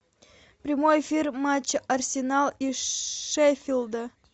прямой эфир матча арсенал и шеффилда